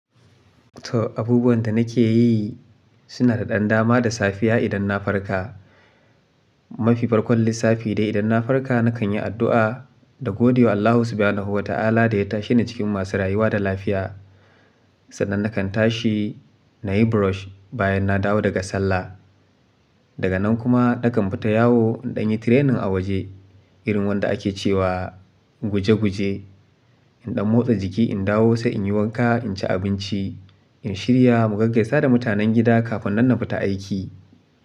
To abubuwan da nake yi suna da ɗan dama da safiya idan na farka. Mafi farkon lissafi dai idan na farka nakan yi addu'a na godewa Allah subhanahu wa ta'ala da ya tashe ni cikin masu rayuwa da lafiya. Sannan nakan tashi, na yi brush bayan na dawo daga sallah. Daga nan kuma nakan fita yawo in danyi training a waje irin wanda ake cewa guje guje. In ɗan motsa jiki, in dawo sai in yi wanka, in ci abinci, in shirya, mu gaggasa da mutanen gida kafin nan na fita aiki.